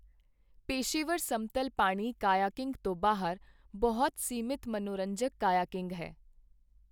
ਪੇਸ਼ੇਵਰ ਸਮਤਲ ਪਾਣੀ ਕਾਈਆਕਿੰਗ ਤੋਂ ਬਾਹਰ, ਬਹੁਤ ਸੀਮਤ ਮਨੋਰੰਜਕ ਕਾਈਆਕਿੰਗ ਹੈ।